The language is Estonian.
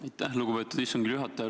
Aitäh, lugupeetud istungi juhataja!